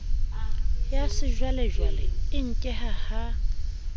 ya sejwalejwale e nkehang ha